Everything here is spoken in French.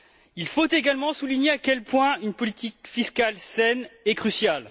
Il faut également souligner à quel point une politique fiscale saine est cruciale.